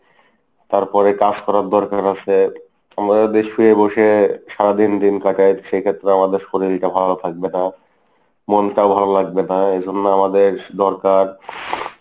তারপরে কাজ করার দরকার আছে, আমরা যদি শুয়ে বসে সারাদিন দিন কাটাই, সেই ক্ষেত্রে আমাদের শরীরটা ভালো থাকবে না। মনটাও ভালো লাগবে না এই জন্য আমাদের দরকার ing.